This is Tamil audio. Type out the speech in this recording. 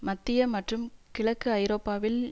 மத்திய மற்றும் கிழக்கு ஐரோப்பாவில்